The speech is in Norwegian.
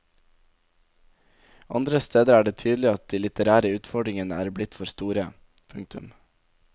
Andre steder er det tydelig at de litterære utfordringer er blitt for store. punktum